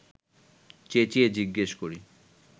চেঁচিয়ে জিজ্ঞেস করি